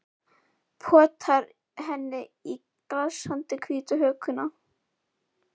Potar henni í glansandi hvíta hökuna.